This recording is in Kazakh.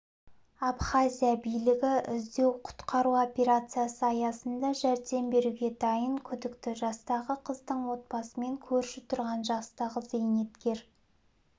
абхазия билігі іздеу-құтқару операциясы аясында жәрдем беруге дайын күдікті жастағы қыздың отбасымен көрші тұрған жастағы зейнеткер